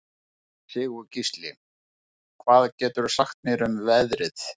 Sigurgísli, hvað geturðu sagt mér um veðrið?